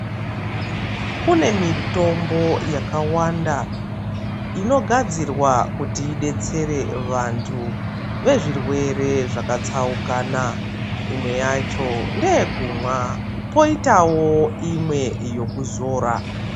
Kune mitombo yakawanda inogadzirwa kuti idetsere vanhu vezvirwere zvakatsaukana imwe yacho ndeye kumwa poitawo imwe yekuzora.